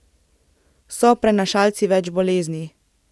So prenašalci več bolezni.